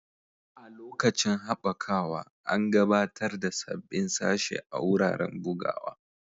A lokacin haɓakawa, an gabatar da sabbin sashe a wuraren bugawa.